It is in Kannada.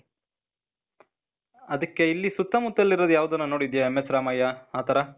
ಅದಕ್ಕೆ, ಇಲ್ಲ್ಲಿ ಸುತ್ತಮುತ್ತಲ್ಲಿರೋದ್ ಯಾವ್ದನ ನೋಡಿದ್ಯ MS ರಾಮಯ್ಯ , ಆ ಥರ?